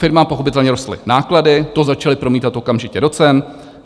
Firmám pochopitelně rostly náklady, to začaly promítat okamžitě do cen.